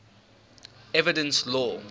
evidence law